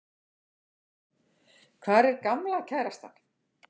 Hvar er gamla kærastan?